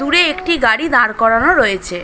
দূরে একটি গাড়ি দাঁড় করানো রয়েছে।